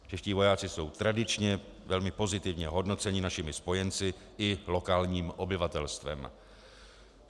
Čeští vojáci jsou tradičně velmi pozitivně hodnoceni našimi spojenci i lokálním obyvatelstvem.